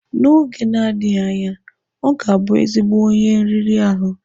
N'oge na-adịghị anya, ọ ga-abụ ezigbo onye nri riri ahụ.